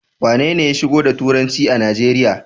Wanene ya shigo da turanci a Najeriya?